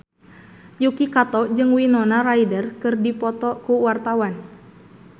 Yuki Kato jeung Winona Ryder keur dipoto ku wartawan